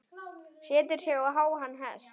Setur sig á háan hest.